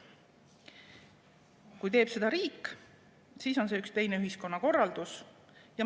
Kui teeks seda riik, siis oleks see üks teine ühiskonnakorraldus.